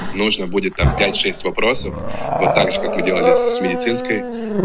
нужно будет там пять шесть вопросов вот так же как мы делали с медицинской